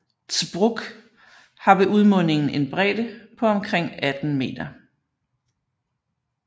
Zbruch har ved udmundingen en bredde på omkring 18 meter